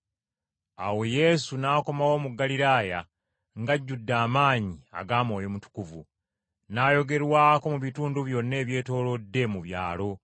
Awo Yesu n’akomawo mu Ggaliraaya ng’ajjudde amaanyi aga Mwoyo Mutukuvu, n’ayogerwako mu bitundu byonna ebyetoolodde mu byalo.